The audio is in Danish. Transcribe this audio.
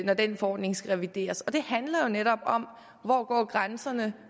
når den forordning skal revideres og det handler jo netop om hvor hvor grænserne